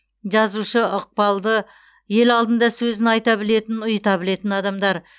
жазушы ықпалды ел алдында сөзін айта білетін ұйыта білетін адамдар